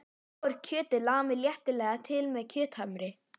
Þá er kjötið lamið léttilega til með kjöthamri.